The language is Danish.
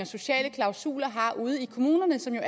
sociale klausuler har ude i kommunerne som jo